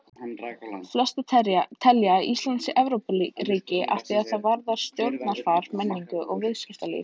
Flestir telja að Ísland sé Evrópuríki að því er varðar stjórnarfar, menningu og viðskiptalíf.